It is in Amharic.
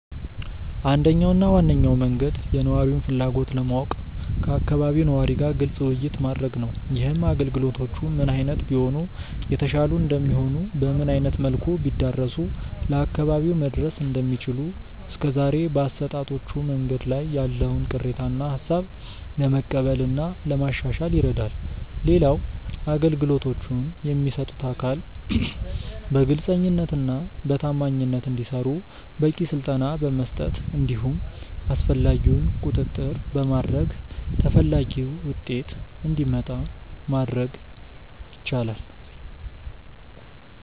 አንደኛው እና ዋነኛው መንገድ የነዋሪውን ፍላጎት ለማወቅ ከአካባቢው ነዋሪ ጋር ግልጽ ውይይት ማድረግ ነው። ይህም አገልግሎቶቹ ምን አይነት ቢሆኑ የተሻሉ እንደሚሆኑ፤ በምን አይነት መልኩ ቢዳረሱ ለአካባቢው መድረስ እንደሚችሉ፤ እስከዛሬ በአሰጣጦቹ መንገዶች ላይ ያለውን ቅሬታ እና ሃሳብ ለመቀበል እና ለማሻሻል ይረዳል። ሌላው አገልግሎቶቹን የሚሰጡት አካል በግልጸኝነት እና በታማኝነት እንዲሰሩ በቂ ስልጠና በመስጠት እንዲሁም አስፈላጊውን ቁጥጥር በማድረግ ተፈላጊው ውጤት እንዲመጣ ማድረግ ይቻላል።